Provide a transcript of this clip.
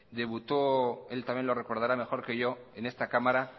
debutó él también lo recordará mejor que yo en esta cámara